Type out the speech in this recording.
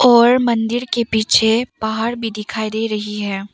और मंदिर के पीछे पहाड़ भी दिखाई दे रही है।